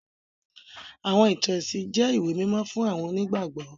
Àwọn ìtàn ẹ̀sìn jẹ ìwé mímó fun àwọn onígbàgbọ́.